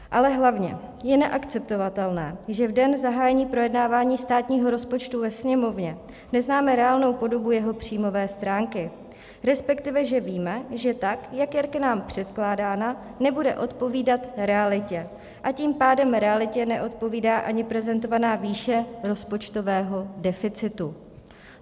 Ale hlavně je neakceptovatelné, že v den zahájení projednávání státního rozpočtu ve Sněmovně neznáme reálnou podobu jeho příjmové stránky, respektive že víme, že tak jak je k nám předkládána, nebude odpovídat realitě, a tím pádem realitě neodpovídá ani prezentovaná výše rozpočtového deficitu.